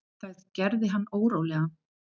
Það gerði hann órólegan.